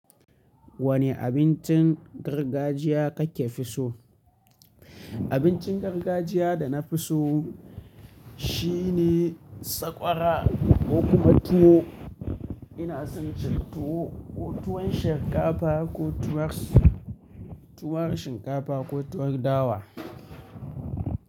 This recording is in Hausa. Wane abincin gargajiya kake fi so? Abincin gargajiya da na fi so shine sakwara ko kuma tuwo. Ina son cin tuwo, tuwon shinkafa ko tuwon, tuwon shinkafa ko tuwon dawa.